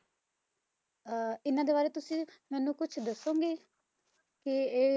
ਅਹ ਇਹਨਾਂ ਦੇ ਬਾਰੇ ਤੁਸੀਂ ਮੈਨੂੰ ਕੁਛ ਦੱਸੋਂਗੇ ਕਿ ਇਹ,